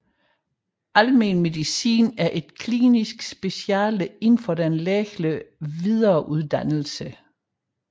Almen medicin er et klinisk speciale inden for den lægelige videreuddannelse